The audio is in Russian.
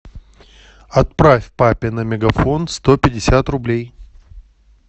отправь папе на мегафон сто пятьдесят рублей